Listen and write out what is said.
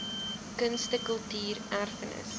kunste kultuur erfenis